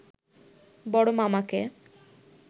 বড় মামাকে